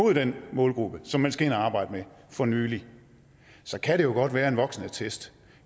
den målgruppe som man skal ind og arbejde med for nylig så kan det jo godt være at en voksenattest